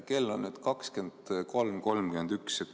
Kell on 23.31.